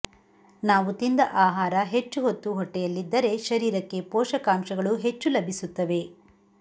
ನಾವು ತಿಂದ ಆಹಾರ ಹೆಚ್ಚು ಹೊತ್ತು ಹೊಟ್ಟೆಯಲ್ಲಿದ್ದರೆ ಶರೀರಕ್ಕೆ ಪೋಷಕಾಂಶಗಳು ಹೆಚ್ಚು ಲಭಿಸುತ್ತವೆ